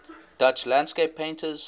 dutch landscape painters